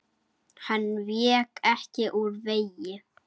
Hann vék ekki úr vegi.